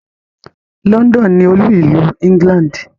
London ni olú-ìlú England.